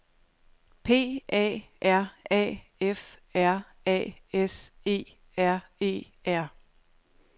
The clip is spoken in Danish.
P A R A F R A S E R E R